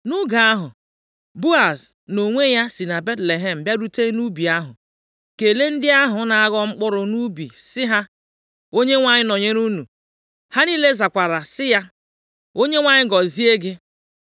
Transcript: Nʼoge ahụ, Boaz nʼonwe ya si na Betlehem bịarute nʼubi ahụ, kelee ndị ahụ na-aghọ mkpụrụ nʼubi sị ha, “ Onyenwe anyị nọnyere unu.” Ha niile zakwara sị ya, “ Onyenwe anyị gọzie gị.”